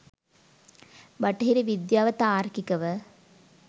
බටහිර විද්‍යාව තාර්කිකව